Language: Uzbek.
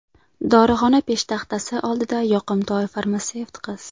Dorixona peshtaxtasi oldida yoqimtoy farmatsevt qiz.